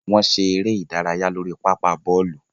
Wọn ṣe ere idaraya lori papa bọọlu.